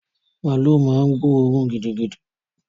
Màálú ma ń gbóòrún gidigidi